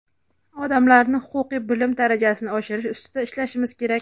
odamlarni huquqiy bilim darajasini oshirish ustida ishlashimiz kerak.